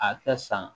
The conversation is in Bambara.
A tɛ san